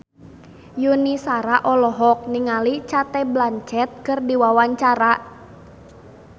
Yuni Shara olohok ningali Cate Blanchett keur diwawancara